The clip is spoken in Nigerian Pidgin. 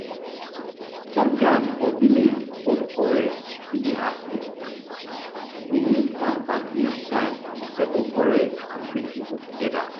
sometimes for village old quarrels fit dey happen dem dey use farm party time to settle quarrels and bring people together